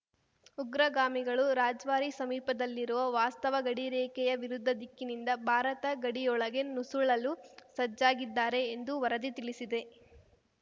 ಉಗ್ರಗಾಮಿಗಳು ರಜ್ವಾರಿ ಸಮೀಪದಲ್ಲಿರುವ ವಾಸ್ತವ ಗಡಿ ರೇಖೆಯ ವಿರುದ್ಧ ದಿಕ್ಕಿನಿಂದ ಭಾರತ ಗಡಿಯೊಳಕೆ ನುಸುಳಲು ಸಜ್ಜಾಗಿದ್ದಾರೆ ಎಂದು ವರದಿ ತಿಳಿಸಿದೆ